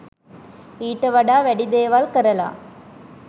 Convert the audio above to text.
ඊට වඩා වැඩි දේවල් කරල